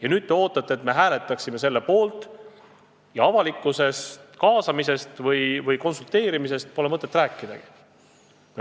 Aga nüüd te ootate, et me hääletaksime selle poolt, ja avalikkuse kaasamisest või konsulteerimisest pole mõtet rääkidagi.